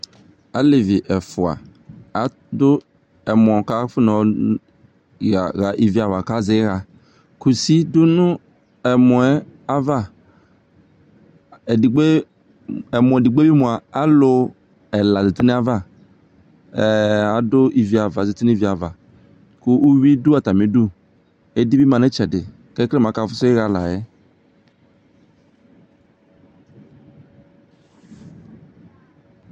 alevi ɛfua ado ɛmɔ ko afonɔ ɣa ivi ava ka zɛ iɣa kusi do no ɛmɔɛ ava edigbo ɛmɔ edigbo bi moa elowo ɛla zati no ava ado ivi ava azati no ivi ava ko uwi do atami idu edi bi ma no atami itsɛdi ko ekele mo aka fuso iɣa la yɛ